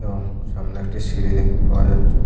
এবং সামনে একটি সিঁড়ি দেখতে পাওয়া যাচ্ছে।